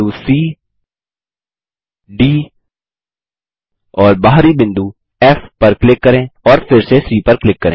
बिंदु C D और बाहरी बिंदु फ़ पर क्लिक करें और फिर से सी पर क्लिक करें